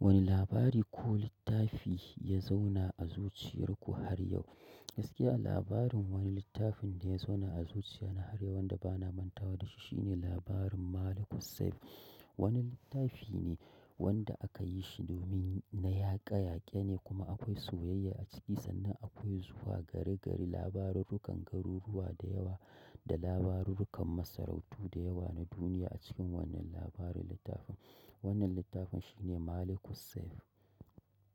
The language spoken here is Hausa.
Wani labari ko littafi ya zauna a zuciyar ku har yau? Gaskiya labarin wani littafin da ya zauna a zuciya na har yau wanda bana manta wa da shi shine labarin Malikussaif. Wani littafi ne wanda aka yi shi domin na yaƙa yaƙe ne kuma akwai soyayya a ciki sannan akwai zuwa gari gari labarurrukan garuruwa da yawa da labarurrukan masarautu da yawa na duniya a cikin wannan labarin littafin. Wannan littafin shine Malikussaif.